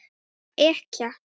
Hún var ekkja.